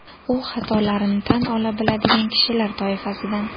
U xatolarini tan ola biladigan kishilar toifasidan.